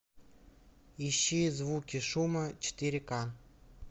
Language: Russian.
ищи звуки шума четыре ка